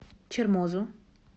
чермозу